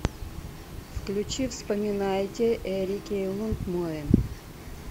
включи вспоминайте эрики лундмоен